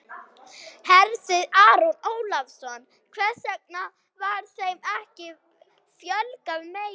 Hersir Aron Ólafsson: Hvers vegna var þeim ekki fjölgað meira?